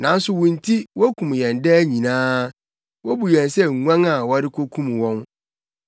Nanso wo nti wokum yɛn daa nyinaa; wobu yɛn sɛ nguan a wɔrekokum wɔn.